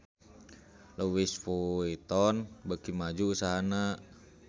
Louis Vuitton beuki maju usahana